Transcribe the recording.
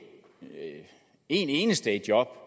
én eneste i job